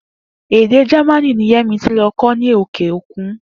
Èdè Jamaní ni Yé̩misí lo̩ kó̩ ní òkè òkùn